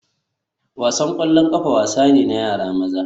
Wasan ƙwallon ƙafa wasa ne na yara maza